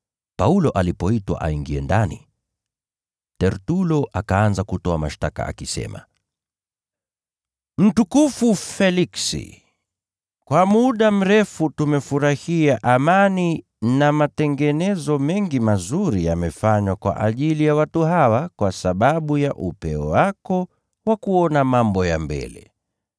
Paulo alipoitwa aingie ndani, Tertulo akaanza kutoa mashtaka akisema, “Mtukufu Feliksi, kwa muda mrefu tumefurahia amani na matengenezo mengi mazuri yamefanywa kwa ajili ya watu hawa kwa sababu ya upeo wako wa kuona mambo ya mbele.